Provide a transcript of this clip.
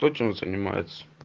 то чем занимается